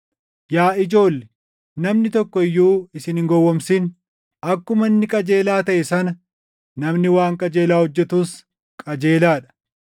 Yaa ijoolle, namni tokko iyyuu isin hin gowwoomsin. Akkuma inni qajeelaa taʼe sana namni waan qajeelaa hojjetus qajeelaa dha.